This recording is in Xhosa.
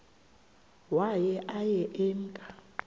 waye aye emke